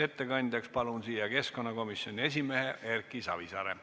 Ettekandjaks palun kõnetooli keskkonnakomisjoni esimehe Erki Savisaare.